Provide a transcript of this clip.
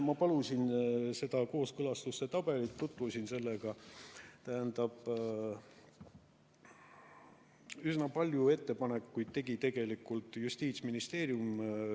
Ma palusin kooskõlastustabelit, tutvusin sellega – üsna palju ettepanekuid tegi tegelikult Justiitsministeerium.